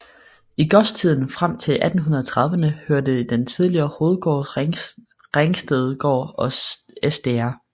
I godstiden frem til 1830erne hørte den tidligere hovedgård Ringstedgård og Sdr